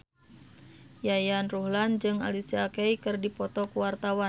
Yayan Ruhlan jeung Alicia Keys keur dipoto ku wartawan